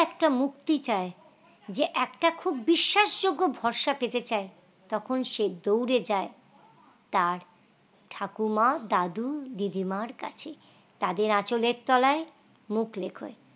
একটা মুক্তি চাই যে একটা খুব বিশ্বাসযোগ্য ভরসা পেতে চায় তখন সে দৌড়ে যায় তার ঠাকুমা দাদু দিদি মার কাছে তাদের আঁচলের তলায় মুখ লুকই